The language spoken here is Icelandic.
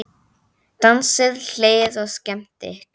Dansað, hlegið og skemmt ykkur.